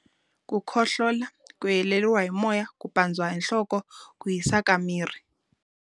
Ku khohlola, ku heleriwa hi moya, ku pandziwa hi nhloko, ku hisa ka miri.